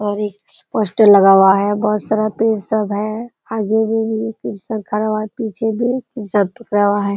और एक पोस्टर लगा हुआ है। बहुत सारा पेड़ सब है। आगे में भी एक इंसान खड़ा हुआ है पीछे में भी इंसान पकड़ा हुआ है।